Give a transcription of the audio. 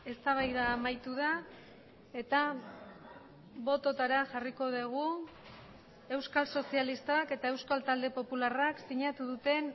eztabaida amaitu da eta bototara jarriko dugu euskal sozialistak eta euskal talde popularrak sinatu duten